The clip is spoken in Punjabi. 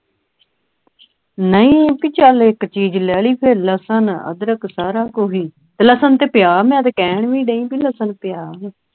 ਨਹੀਂ ਇੱਕ ਚੀਜ਼ ਲੈ ਲਈ ਫੇਰ ਲਸਣ ਅਦਰਕ ਸਾਰਾ ਕੁਝ ਹੀ ਲਸਣ ਤੇ ਪਿਆਜ਼ ਮੈਂ ਕੈਨ ਵੀ ਡਈ ਕੇ ਲਸਨ ਪਿਆਰਵਾਂ